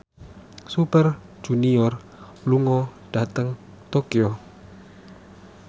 Super Junior lunga dhateng Tokyo